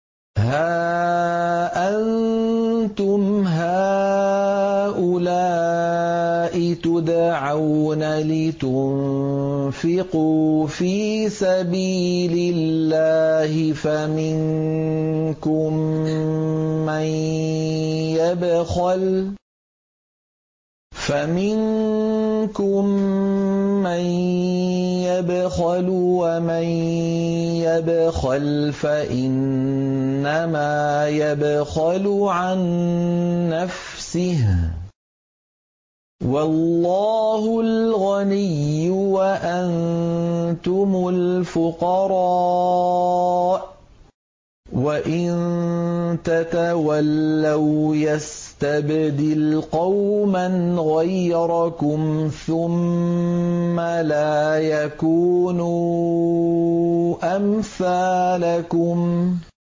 هَا أَنتُمْ هَٰؤُلَاءِ تُدْعَوْنَ لِتُنفِقُوا فِي سَبِيلِ اللَّهِ فَمِنكُم مَّن يَبْخَلُ ۖ وَمَن يَبْخَلْ فَإِنَّمَا يَبْخَلُ عَن نَّفْسِهِ ۚ وَاللَّهُ الْغَنِيُّ وَأَنتُمُ الْفُقَرَاءُ ۚ وَإِن تَتَوَلَّوْا يَسْتَبْدِلْ قَوْمًا غَيْرَكُمْ ثُمَّ لَا يَكُونُوا أَمْثَالَكُم